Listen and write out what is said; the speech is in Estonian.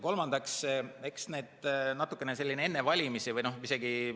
Kolmandaks, eks natukene selline enne valimisi või isegi ...